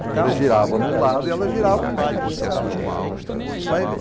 Você girava num lado e ela girava, então você ficava nesse... Vai ver.